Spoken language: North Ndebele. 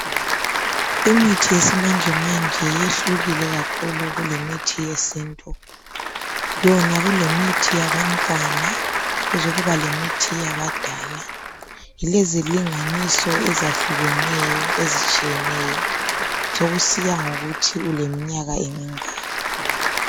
Imithi yesimanjemanje yehlukile kakhulu kulemithi yesintu. Yona kulemithi yabantwana kuzokuba lemithi yabadala .ilezilinganiso ezahlukeneyo ezitshiyeneyo sokusiya ngokuthi uleminyaka emingaki.